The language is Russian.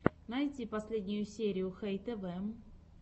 найти последнюю серию хэй тэвэ